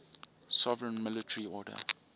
sovereign military order